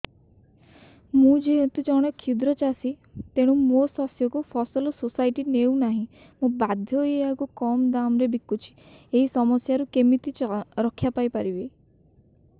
ମୁଁ ଯେହେତୁ ଜଣେ କ୍ଷୁଦ୍ର ଚାଷୀ ତେଣୁ ମୋ ଶସ୍ୟକୁ ଫସଲ ସୋସାଇଟି ନେଉ ନାହିଁ ମୁ ବାଧ୍ୟ ହୋଇ ଏହାକୁ କମ୍ ଦାମ୍ ରେ ବିକୁଛି ଏହି ସମସ୍ୟାରୁ କେମିତି ରକ୍ଷାପାଇ ପାରିବି